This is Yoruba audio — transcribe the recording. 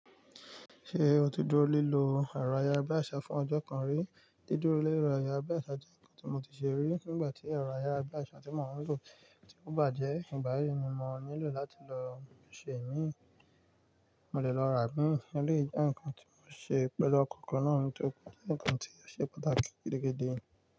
Ṣe o tí dúró lílo ẹ̀rọ ayárabíàṣá fún ọjọ́ kan rí? Dídúró lé ẹ̀rọ ayárabíàṣá jẹ́ nǹkan tí mo ti ṣe rí nígbà tí ẹ̀rọ ayárabíàṣá tí mò ń lò ti bàjẹ́. Nígbà yí ni mo nílò láti lọ ṣe mí, mo lè lọ rà bín. Ó lè jẹ́ ǹkan tí ó ṣe pẹ̀lú ọkọ̀ kan náà ni tó kú, ǹkan tí ó ṣe pàtàkì gidigidi.